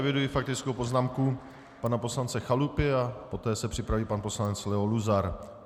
Eviduji faktickou poznámku pana poslance Chalupy a poté se připraví pan poslanec Leo Luzar.